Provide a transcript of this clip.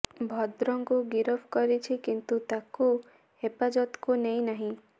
ଭଦ୍ରଙ୍କୁ ଗିରଫ କରିଛି କିନ୍ତୁ ତାକୁ ହେଫାଜତକୁ ନେଇ ନାହିଁ